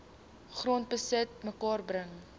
grondbesit bymekaar bring